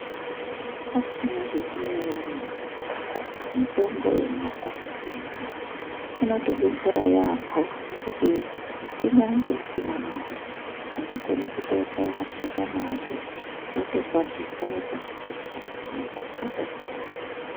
Asi munozviziya ere imwi kuti mitombo yemumakanyi mwedu muno inotodetsera yamho ngekuti kunyange usina mare unokone kutokaye mashakani ako wotokwatisa wotopuza mundani mwotopora.